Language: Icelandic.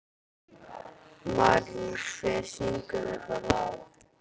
Marín, hver syngur þetta lag?